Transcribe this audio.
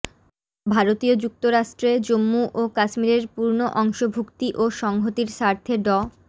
ভারতীয় যুক্তরাষ্ট্ৰে জম্মু ও কাশ্মীরের পূর্ণ অংশভুক্তি ও সংহতির স্বার্থে ড